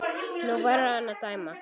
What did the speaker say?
Nú verður hún að dæma.